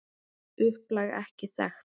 Upplag er ekki þekkt.